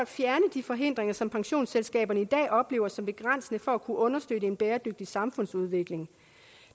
de forhindringer som pensionsselskaberne i dag oplever som begrænsende for at kunne understøtte en bæredygtig samfundsudvikling